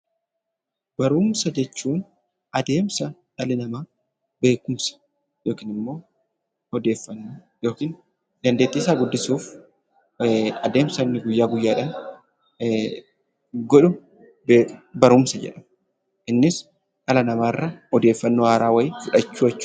Barumsa jechuun adeemsa dhalli namaa beekumsa yookiin immoo odeeffannoo yookiin dandeettiisaa guddisuuf adeemsa inni guyyaa guyyaadhaan godhu barumsa jenna. Innis dhala namaarraa odeeffannoo haaraa wayii fudhachuu jechuudha.